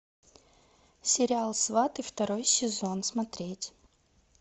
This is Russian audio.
сериал сваты второй сезон смотреть